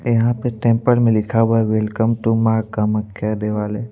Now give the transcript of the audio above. यहां पे टेंपल में लिखा हुआ है वेलकम टू मां कामख्या दिवाले--